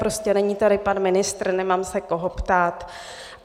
Prostě není tady pan ministr, nemám se koho ptát.